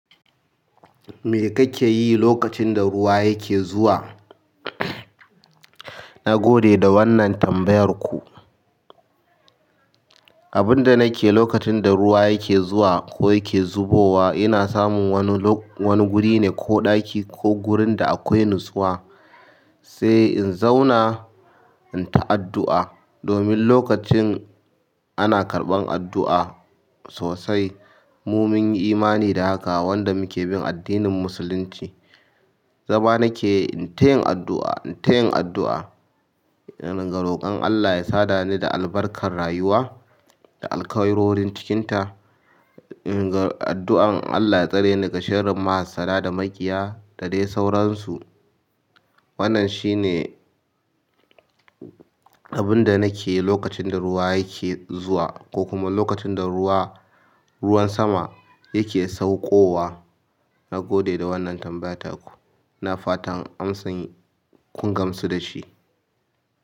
Me kake yi lokacin da ruwa yake zuwa? Na gode da wannan tambayar ku. Abin da nake yi lokacin da ruwa yake zuwa ko yake zubo wa, ina samun wani guri ne ko ɗaki ko gurin da akwai nutsuwa, sai in zauna in ta addu'a. Domin lokacin ana karɓan addu'a sosai, mu mun yi imani da haka, wanda muke bin addinin Musulunci. Zama nake in tayin addu'a, in tayin addu'a. Ina roƙon Allah ya sada ni da albarkar rayuwa, da alkairorin cikin ta. Ina addu'an Allah ya tsare ni daga shirin mahasssada da maƙiya da dai sauransu. Wannan shine abin da nake yi lokacin da ruwa yake zuwa, ko kuma lokacin da ruwan sama yake saukowa. Na gode da wannan tambaya taku, ina fatan amsan kub gamsu da shi.